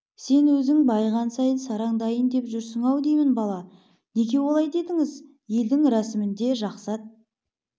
сен өзің байыған сайын сараңданайын деп жүрсің-ау деймін бала неге олай дедіңіз елдің рәсімінде жақсы ат